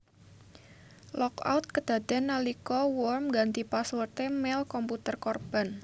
Lockout kedadéan nalika worm ngganti password e mail komputer korban